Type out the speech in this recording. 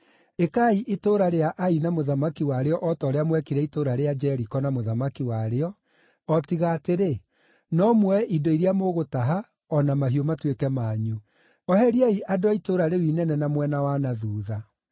Ĩkai itũũra rĩa Ai na mũthamaki warĩo o ta ũrĩa mwekire itũũra rĩa Jeriko na mũthamaki warĩo, o tiga atĩrĩ, no muoye indo iria mũgũtaha, o na mahiũ matuĩke manyu. Oheriai andũ a itũũra rĩu inene na mwena wa na thuutha.”